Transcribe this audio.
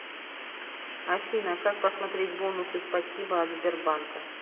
афина как посмотреть бонусы спасибо от сбербанка